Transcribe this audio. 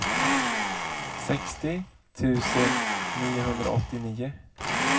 sextio tusen niohundraåttionio